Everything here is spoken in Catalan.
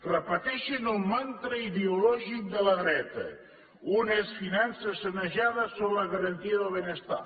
repeteixen el mantra ideològic de la dreta unes finances sanejades són la garantia del benestar